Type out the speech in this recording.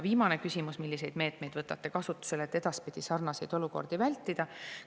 Viimane küsimus: "Milliseid meetmeid võtate kasutusele, et edaspidi sarnaseid olukordi vältida?